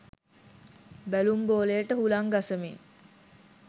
බැලුම් බෝලයට හුළං ගසමින්